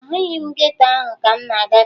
Ahụghị m geto ahụ ka m na-agafe